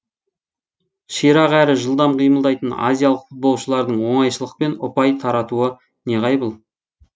ширақ әрі жылдам қимылдайтын азиялық футболшылардың оңайшылықпен ұпай таратуы неғайбыл